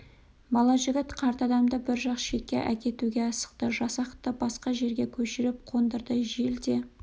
бала жігіт қарт адамды бір жақ шетке әкетуге асықты жасақты басқа жерге көшіріп қондырды жел де